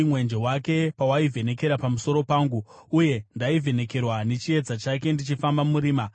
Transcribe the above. mwenje wake pawaivhenekera pamusoro pangu uye ndaivhenekerwa nechiedza chake ndichifamba murima!